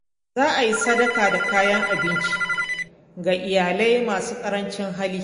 Za a yi sadaka da kayan abinci ga iyalai masu ƙarancin hali.